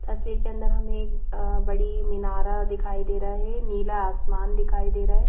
तस्वीर के अंदर हमें एक अ बड़ी मिनारा दिखाई दे रहा है नीला आसमान दिखाई दे रहा है।